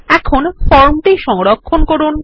এখন ফর্মটি সংরক্ষণ করুন